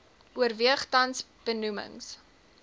oorweeg tans benoemings